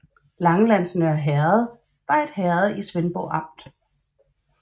Langelands Nørre Herred var et herred i Svendborg Amt